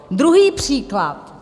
Druhý příklad.